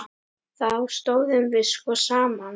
Þá stóðum við sko saman.